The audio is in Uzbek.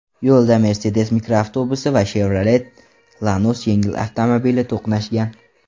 Yo‘lda Mercedes mikroavtobusi va Chevrolet Lanos yengil avtomobili to‘qnashgan.